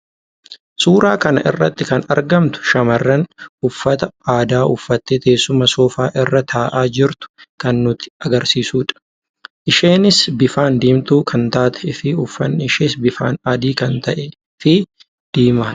Suuraa kana irraatti kan argamtu shamarran uffata aadaa uffattee teessuma soofaa irraa taa'aa jirtu kan nutti agarsiisuudha. Isheenis bifsan diimtuu kan taatee fi uffanni ishees bifaan adii kan ta'ee fi diimaa dha.